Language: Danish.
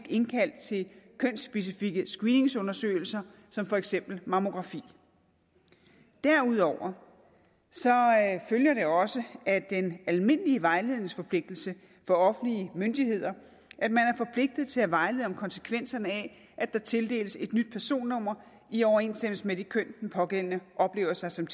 indkaldt til kønsspecifikke screeningsundersøgelser som for eksempel mammografi derudover følger det også af den almindelige vejledningsforpligtelse for offentlige myndigheder at til at vejlede om konsekvenserne af at der tildeles et nyt personnummer i overensstemmelse med det køn som den pågældende oplever sig som